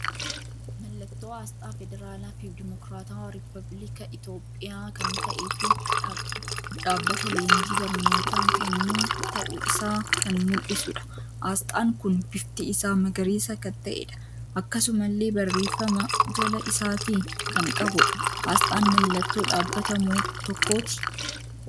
Mallattoo asxaa feederaala fi dimookiraata rubbapillika Itiyoophiyaa kan ta'e fi dhaabbata leenjii barnoota kennu ta'u isaa kan muldhisudha. asxaan kun bifti isaa magariisa kan ta'edha. Akkasumalle barreeffama jala isaati kan qabudha. Asxaan mallattoo dhabbata tokkoti.